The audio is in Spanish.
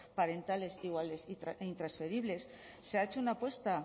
parentales iguales e intransferibles se ha hecho una apuesta